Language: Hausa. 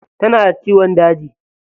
Tana da ciyon daji.